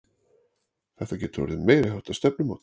Þetta getur orðið meiriháttar stefnumót!